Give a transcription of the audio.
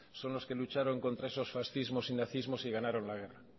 son los que lucharon contra esos fascismos y nazismos y ganaron la guerra